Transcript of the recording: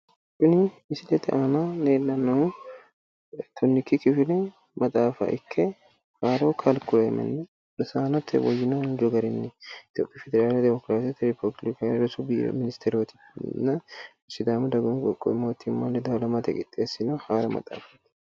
Tini misilete aana leellannohu tonnikki kifile maxaafa ikke haaro kaarikileeme rosaannote woyyino injino garinni itoophiyu federaalete demokiraasete rippabilikete rosu biiro minisiterootinna sidaamu dagoomu mootimma ledo halamatenni qixxeessino haaro maxaafa.